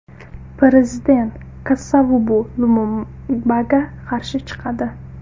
Prezident Kasavubu Lumumbaga qarshi chiqadi.